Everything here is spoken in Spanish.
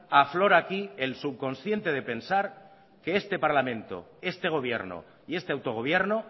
aflora aquí el subconsciente de pensar que este parlamento este gobierno y este autogobierno